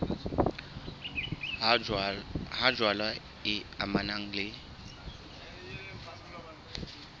ha jwale e amanang le